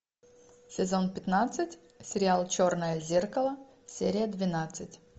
сезон пятнадцать сериал черное зеркало серия двенадцать